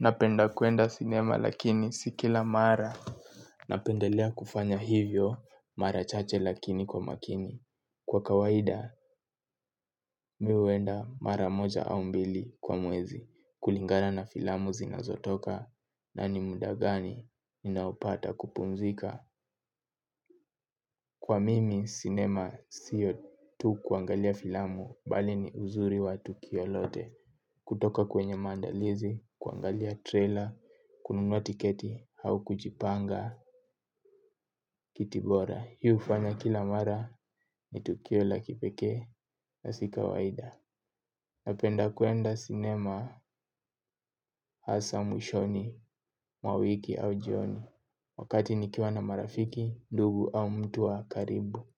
Napenda kuenda sinema lakini si kila mara. Napendelea kufanya hivyo mara chache lakini kwa makini. Kwa kawaida mi uenda mara moja au mbili kwa mwezi kulingara na filamu zinazotoka na ni mudagani ninaupata kupumzika. Kwa mimi cinema siyo tu kuangalia filamu bali ni uzuri wa tukio lote. Kutoka kwenye mandalizi, kuangalia trailer, kununua tiketi au kujipanga kiti bora. Hi ufanya kila mara ni tukio la kipeke na sika waida. Napenda kuenda cinema, hasa mwishoni, mwa wiki au jioni. Wakati nikiwa na marafiki, ndugu au mtu wa karibu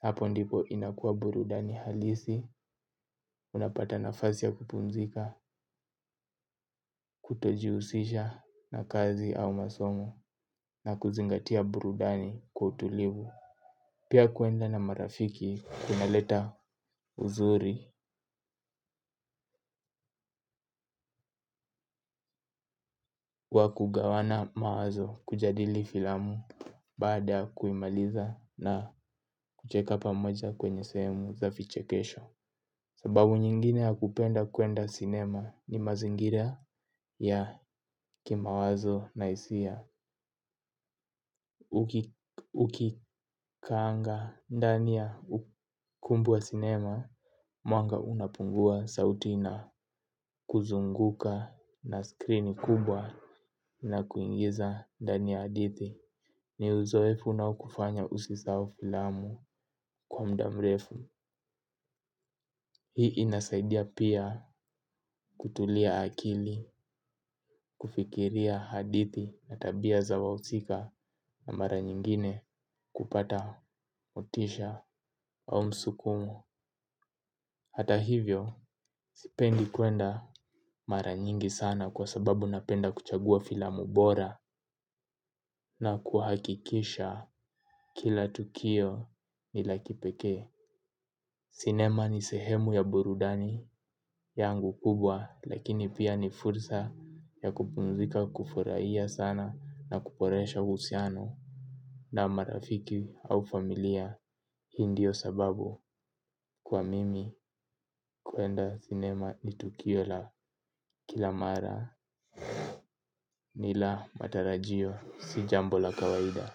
hapo ndipo inakuwa burudani halisi. Unapata nafasi ya kupumzika, kutojiusisha na kazi au masomo na kuzingatia burudani kwa utulivu. Pia kuenda na marafiki kuna leta uzuri wa kugawana mawazo kujadili filamu. Baada kuimaliza na kucheka pamoja kwenye semu za fiche kesho. Sababu nyingine ya kupenda kuenda cinema ni mazingira ya kimawazo na isia. Ukikanga ndani ya ukumbi wa sinema. Mwanga unapungua sauti ina kuzunguka na skrini kubwa. Na kuingiza ndani ya adithi. Ni uzoefu na ukufanya usisau filamu kwa mda mrefu. Hii inasaidia pia kutulia akili. Kufikiria hadithi na tabia za wausika na mara nyingine kupata motisha au msukumo hata hivyo sipendi kwenda mara nyingi sana. Kwa sababu napenda kuchagua filamu bora na kuhakikisha kila tukio nila kipekee. Sinema ni sehemu ya burudani yangu kubwa. Lakini pia ni fursa ya kupumzika kufuraia sana. Na kuboresha uhusiano na marafiki au familia. Hi ndio sababu kwa mimi kwenda sinema ni tukio la kila mara ni la matarajio si jambo la kawaida.